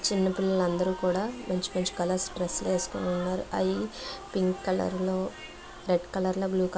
చిన్నపిల్లలు అందరు కూడా మంచి మంచి కలర్స్ డ్రెస్సులు వేసుకొని ఉన్నారు. ఐ పింక్ కలర్ లో రెడ్ కలర్ లా బ్లూ కలర్ లా--